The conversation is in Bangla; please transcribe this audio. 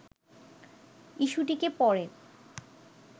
ইস্যুটিকে পরে